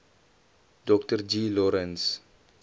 dr g lawrence